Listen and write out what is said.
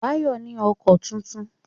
Báyọ̀ ní ọkọ tuntun